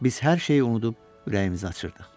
Biz hər şeyi unudub ürəyimizi açırdıq.